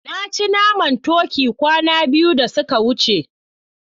Na ci naman turkey kwana biyu da suka wuce.